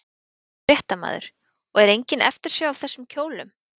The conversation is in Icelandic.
Fréttamaður: Og er engin eftirsjá af þessum kjólum?